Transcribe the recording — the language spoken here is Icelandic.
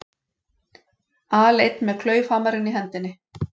Aleinn með klaufhamarinn í hendinni.